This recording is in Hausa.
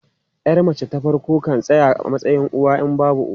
Yar mace ta farko kan tsaya a matsayin uwa in babu uwa.